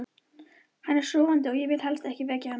Hann er sofandi og ég vil helst ekki vekja hann.